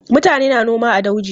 Mutane na noma a dauji.